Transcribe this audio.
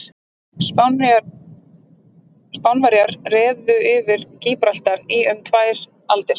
Spánverjar réðu yfir Gíbraltar í um tvær aldir.